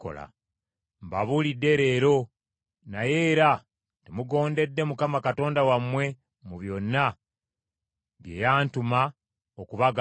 Mbabuulidde leero, naye era temugondedde Mukama Katonda wammwe mu byonna bye yantuma okubagamba.